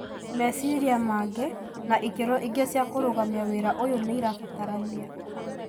Maciria mangĩ na ikĩro ingĩ cia kũrugamia wĩra ũyũ nĩirabatarania.